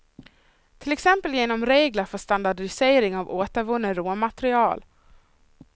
Till exempel genom regler för standardisering av återvunna råmaterial.